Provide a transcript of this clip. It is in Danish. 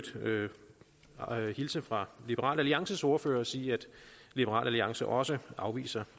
øvrigt hilse fra liberal alliances ordfører og sige at liberal alliance også afviser